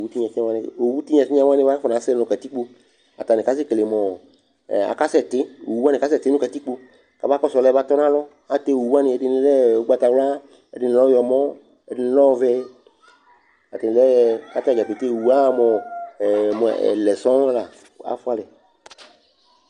Owu tɩnya tɩnya wanɩ owu tɩnya tɩnya wanɩ mʋa, akɔnasɛ nʋ katikpo Atanɩ kasɛkele mʋ ɔ ɛ akasɛtɩ Owu wanɩ kasɛtɩ nʋ katikpo kabakɔsʋ ɔlʋ yɛ batɔ nʋ alɔ Atɛ owu wanɩ, ɛdɩnɩ lɛ ʋgbatawla, ɛdɩnɩ lɛ ɔɣlɔmɔ, ɛdɩnɩ lɛ ɔvɛ Atanɩ lɛ kʋ atanɩ dza pete owu aɣa mʋ ɔ ɛ mʋ ɛlɛ sɔŋ la kʋ afʋa alɛ